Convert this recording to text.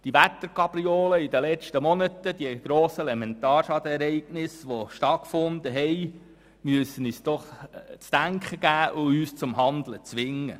Gerade die Wetterkapriolen in den letzten Monaten und die grossen Elementarschadenereignisse müssen uns zu denken geben und uns zum Handeln zwingen.